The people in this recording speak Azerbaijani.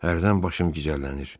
Hərdən başım gicəllənir.